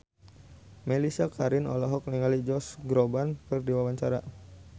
Mellisa Karim olohok ningali Josh Groban keur diwawancara